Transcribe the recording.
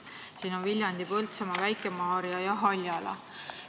Siin on Viljandi, Põltsamaa, Väike-Maarja ja Haljala.